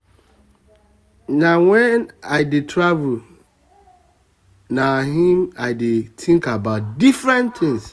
na wen i dey travel dey travel na im i dey think about different things